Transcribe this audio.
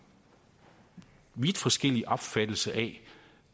vi se